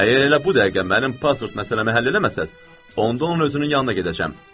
Əgər elə bu dəqiqə mənim pasport məsələmi həll eləməsəz, onda onun özünün yanına gedəcəm.